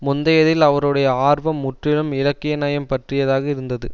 முந்தையதில் அவருடைய ஆர்வம் முற்றிலும் இலக்கிய நயம் பற்றியதாக இருந்தது